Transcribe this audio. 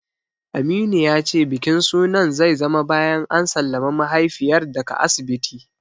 Aminu ya ce bikin sunan zai zama bayan an sallami mahaifiyar daga asibiti.